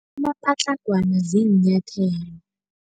Amapatlagwana ziinyathelo.